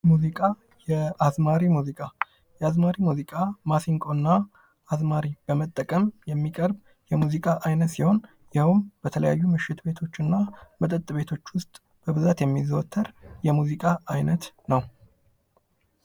ሙዚቃ፦ የአዝማሪ ሙዚቃ፦ የአዝማሪ ሙዚቃ ማሲንቆና አዝማሪ በመጠቀም የሚቀርብ የሙዚቃ ዓይነት ሲሆን ይኸውም በተለያዩ ምሽት ቤቶች እና መጠጥ ቤቶች ውስጥ በብዛት የሚዘወተር የሙዚቃ ዓይነት ነው።